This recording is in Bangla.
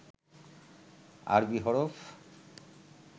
আরবী হরফ